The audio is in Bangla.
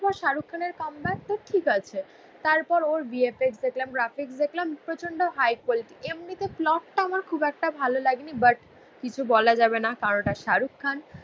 পর শাহরুখ খানের কাম ব্যাক তো ঠিক আছে তারপর ওর VFX দেখলাম গ্রাফিক্স দেখলাম. প্রচণ্ড হাই কোল্ড. এমনিতে ফ্লপটা আমার খুব একটা ভালো লাগেনি. বাট কিছু বলা যাবে না. কারণ ওটা শাহরুখ খান.